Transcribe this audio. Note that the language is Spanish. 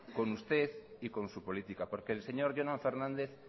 con usted y con su política porque el señor jonan fernández